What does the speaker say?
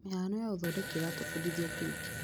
Mĩhano ya ũthondeki ĩratũbundithia ũtungi.